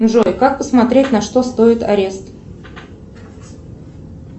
джой как посмотреть на что стоит арест